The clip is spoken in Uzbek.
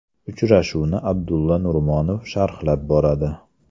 Uchrashuvni Abdulla Nurmonov sharhlab boradi.